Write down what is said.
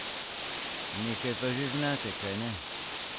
Nekaj pa že znate, kajne?